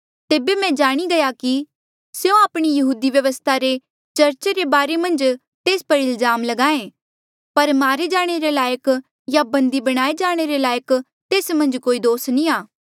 तेबे मैं जाणी गया कि स्यों आपणी यहूदी व्यवस्था रे चर्चा रे बारे मन्झ तेस पर इल्जाम ल्गाहें पर मारे जाणे लायक या बंदी बणाए जाणे रे लायक तेस मन्झ कोई दोस नी आ